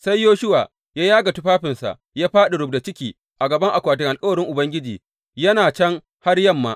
Sai Yoshuwa ya yaga tufafinsa ya fāɗi rubda ciki a gaban akwatin alkawarin Ubangiji, yana can har yamma.